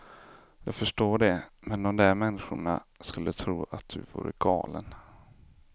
Jag förstår det, men de där människorna skulle tro att du vore galen.